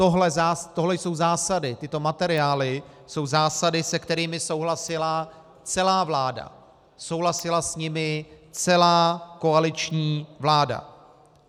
Tohle jsou zásady, tyto materiály jsou zásady, se kterými souhlasila celá vláda, souhlasila s nimi celá koaliční vláda.